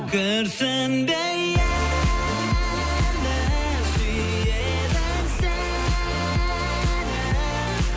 күрсінбе енді сүйеді сені